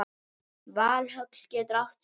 Valhöll getur átt við